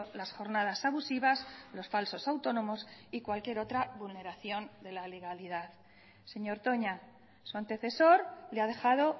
las jornadas abusivas los falsos autónomos y cualquier otra vulneración de la legalidad señor toña su antecesor le ha dejado